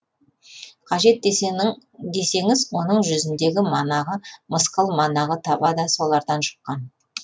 қажет десеңіз оның жүзіндегі манағы мысқыл манағы таба да солардан жұққан